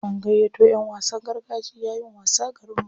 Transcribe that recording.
An gayyato ƴan wasan gargajiya yin wasa garinmu.